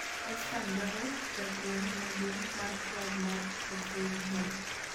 West Ham dwaro japuonj maduong' mar klab mar Hoffeinhem